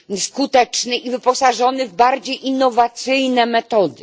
skuteczny i wyposażony w bardziej innowacyjne metody.